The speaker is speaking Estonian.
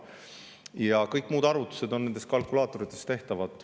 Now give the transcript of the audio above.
Ja kõik muud arvutused on nende kalkulaatoritega tehtavad.